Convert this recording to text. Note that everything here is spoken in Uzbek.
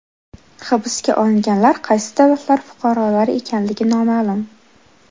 Hibsga olinganlar qaysi davlatlar fuqarolari ekanligi noma’lum.